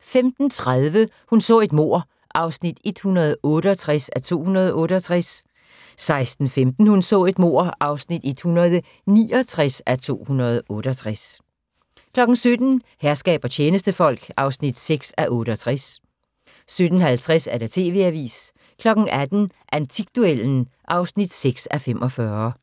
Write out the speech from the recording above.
15:30: Hun så et mord (168:268) 16:15: Hun så et mord (169:268) 17:00: Herskab og tjenestefolk (6:68) 17:50: TV-avisen 18:00: Antikduellen (6:45)